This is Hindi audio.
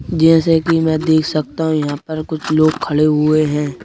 जैसे कि मैं देख सकता हूं यहां पर कुछ लोग खड़े हुए हैं।